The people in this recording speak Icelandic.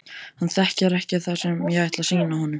Hann þekkir ekki það sem ég ætla að sýna honum.